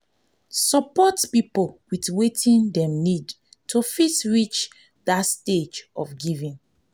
support pipo with wetin dem need to fit reach that stage of giving